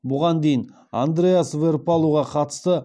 бұған дейін андрэас веэрпалуға қатысты